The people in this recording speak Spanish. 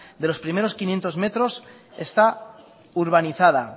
de los primeros quinientos metros está urbanizada